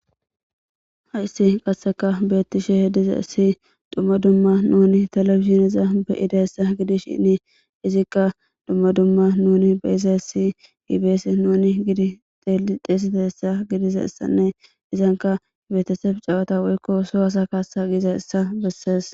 Hassi qasseka beettishe dizaysi dumma dumma nuuni telebizhinezan be7idaysa gidishin izikka dumma dumma nuuni be7izasi i be7ees .nuni xeesidaysa gidizaysanne izanka beetesebe chawata woyikko soo asa kaassa gizayssa bessees.